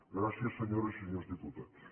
gràcies senyores i senyors diputats